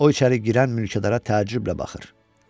O içəri girən mülkədara təəccüblə baxır.